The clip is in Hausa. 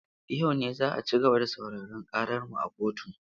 Yau ne za a ci gaba da sauraren ƙarar mu a kotu.